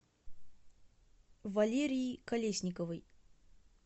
валерии колесниковой